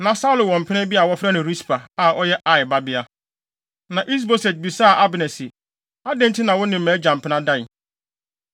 Na Saulo wɔ mpena bi a wɔfrɛ no Rispa, a ɔyɛ Aia babea. Na Is-Boset bisaa Abner se, “Adɛn nti na wo ne mʼagya mpena dae?”